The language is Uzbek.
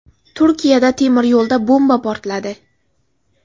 Turkiyada temiryo‘lda bomba portladi.